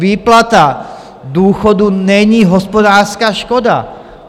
Výplata důchodů není hospodářská škoda.